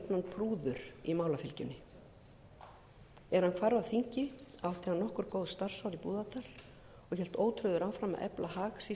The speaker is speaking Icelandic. prúður í málafylgjunni er hann hvarf af þingi átti hann nokkur góð starfsár í búðardal og hélt ótrauður áfram að efla hag sýslunga sinna